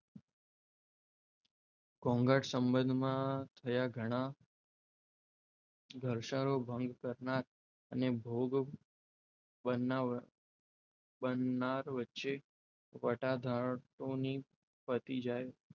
ઘોંઘાટ સંબંધમાંથયા ઘણા ઘસારો ભાંગ કરનાર અને ભોગ બનાર વચ્ચે વટાધારકોની પતી જાય,